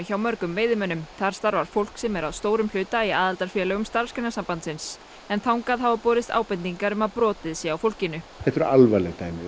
hjá mörgum veiðimönnum þar starfar fólk sem er að stórum hluta í aðildarfélögum Starfsgreinasambandsins en þangað hafa borist ábendingar um að brotið sé á fólkinu þetta eru alvarleg dæmi